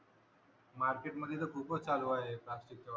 market मध्ये तर खूपच चालू आहे प्लास्टीक चा वापर